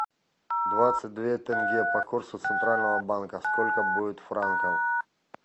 двадцать две тенге по курсу центрального банка сколько будет франков